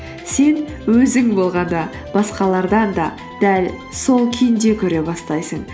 сен өзің болғанды басқалардан да дәл сол күйінде көре бастайсың